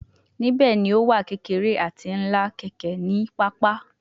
Nibẹ ni o wa kekere ati ńlá keke ni papa